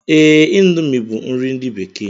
Ee, índomi bu nri ndi bekee